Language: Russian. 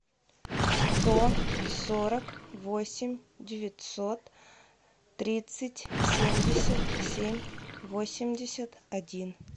сто сорок восемь девятьсот тридцать семьдесят семь восемьдесят один